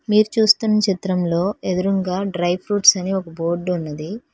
మీరు చూస్తున్న చిత్రంలో ఎదురుంగా డ్రై ఫ్రూట్స్ అని ఒక బోర్డు ఉన్నది.